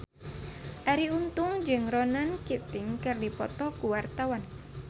Arie Untung jeung Ronan Keating keur dipoto ku wartawan